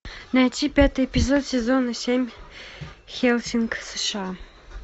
найти пятый эпизод сезона семь хеллсинг сша